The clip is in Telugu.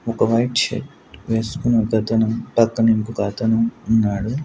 ఒక వైట్ షర్ట్ వేసుకున్న ఒకతను పక్కన ఇంకొక అతను ఉన్నాడు.